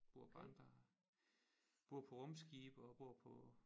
Bor på andre bor på rumskibe og bor på